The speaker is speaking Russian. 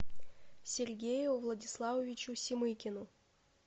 сергею владиславовичу семыкину